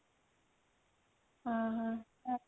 ଓଃ ହୋ